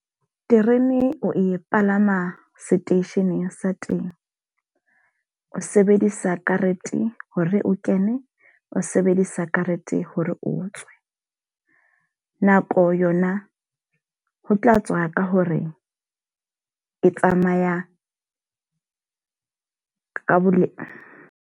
Terene o e palama seteisheneng sa temo. O sebedisa karete hore o kene. O sebedisa karete hore o tswe. Nako yona ho tla tswa ka hore e tsamaya ka bo .